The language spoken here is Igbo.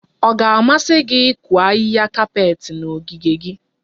Ọ ga-amasị gị ịkụ ahịhịa kapet na ogige gị?